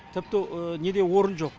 тіпті неде орын жоқ